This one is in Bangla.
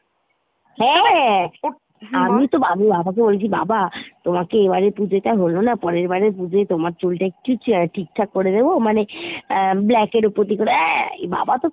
হ্যাঁ আমি তো বাবাকে বলছি বাবা তোমাকে এবার পুজোতে তো হলো না পরেরবার পুজোয় তোমার চুল টা একটু ঠিকঠাক করে দেব মানে আহ black এর উপর দিয়ে আহ বাবা তো